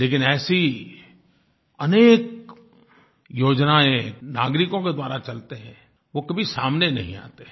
लेकिन ऐसी अनेक योजनाएँ नागरिकों के द्वारा चलती हैं वो कभी सामने नहीं आती हैं